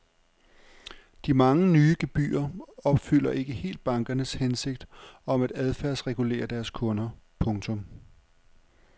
De mange nye gebyrer opfylder ikke helt bankernes hensigt om at adfærdsregulere deres kunder. punktum